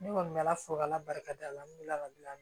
Ne kɔni bɛ ala fo k'ala barika da la n delila ka bila